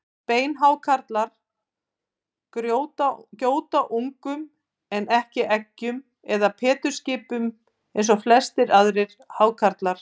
Beinhákarlar gjóta ungum en ekki eggjum eða pétursskipum eins og flestir aðrir hákarlar.